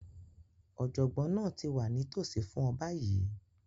Ọ̀jọ̀gbọ́n náà ti wà nítòsí fún ọ báyìí